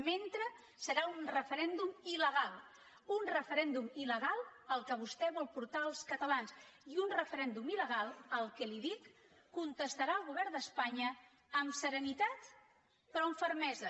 mentrestant serà un referèndum il·legal un referèndum ilportar els catalans i un referèndum il·legal a què li ho dic contestarà el govern d’espanya amb serenitat però amb fermesa